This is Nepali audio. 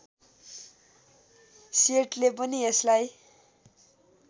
सेटले पनि यसलाई